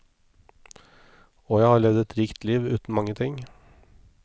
Og jeg har levd et rikt liv, uten mange ting.